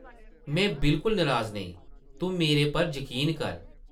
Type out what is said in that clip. में बिल्कुल नराज नेईं... तूं मेरे पर जकीन कर ।